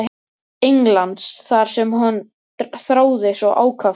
Englands þar sem hann þráði svo ákaft að búa.